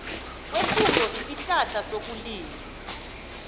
kwefuyo isihlahla sokulima